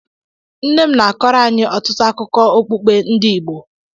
Nne m na-akọrọ anyị ọtụtụ akụkọ okpukpe ndị Igbo.